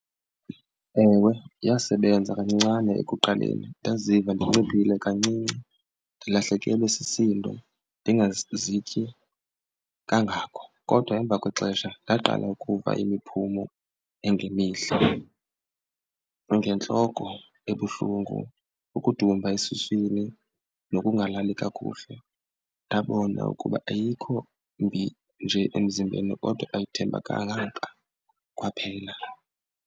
Ewe, yasebenza kancincane ekuqaleni ndaziva ndinciphile kancinci, ndilahlekelwe sisindo, ndingazityi kangako. Kodwa emva kwexesha ndaqala ukuva imiphumo engemihle ngentloko ebuhlungu, ukudumba esuswini nokungalali kakuhle. Ndabona ukuba ayikho mbi nje emzimbeni kodwa ayithembakalanga kwaphela.